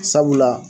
Sabula